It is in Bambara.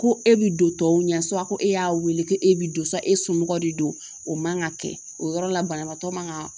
Ko e bi don tɔw ɲɛ ko e y'a weele ko e bi don e somɔgɔ de don o man ka kɛ o yɔrɔ la banabaatɔ man ka